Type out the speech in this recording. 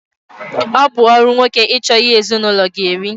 Ọ bụ ọrụ nwoke ịchọ ihe ezinaụlọ ga-eri